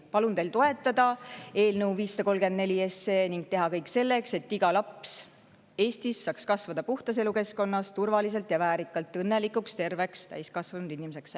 Palun teil toetada eelnõu 534 ning teha kõik selleks, et iga laps Eestis saaks kasvada puhtas elukeskkonnas, turvaliselt ja väärikalt õnnelikuks terveks täiskasvanud inimeseks.